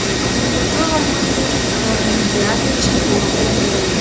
ендігі орманы олимпиада чемпионы болу